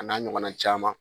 A n'a ɲɔgɔnna caman.